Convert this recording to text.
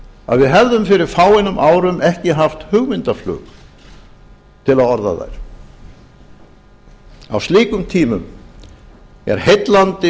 að við hefðum fyrir fáeinum árum ekki haft hugmyndaflug til að orða þær á slíkum tímum er heillandi